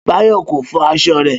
Bayo ko fọ aṣọ rẹ